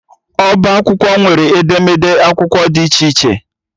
Ọbá akwụkwọ nwere akwụkwọ ederede dị iche iche